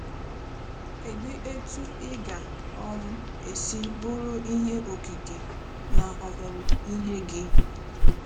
Kedu etu ị ga - um esi bụrụ ihe okike na ọmụmụ ihe gị?